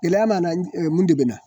Gɛlɛya nana mun de bɛna